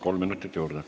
Kolm minutit juurde.